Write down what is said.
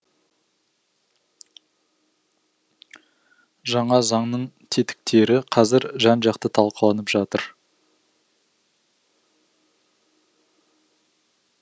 жаңа заңның тетіктері қазір жан жақты талқыланып жатыр